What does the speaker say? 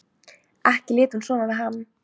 Ekki lét hún svona við hann.